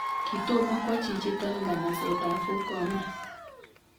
Kitomo kwo chichitok nganasetab Four Corners